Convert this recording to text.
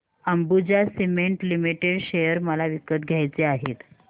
Ambuja cement limited share मला विकत घ्यायचे आहेत